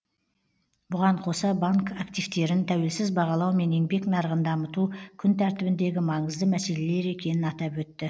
бұған қоса банк активтерін тәуелсіз бағалау мен еңбек нарығын дамыту күн тәртібіндегі маңызды мәселелер екенін атап өтті